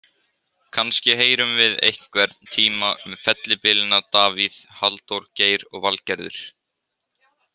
Kannski heyrum við einhvern tíma um fellibylina Davíð, Halldór, Geir og Valgerður.